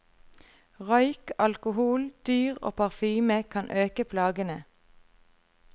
Røyk, alkohol, dyr og parfyme kan øke plagene.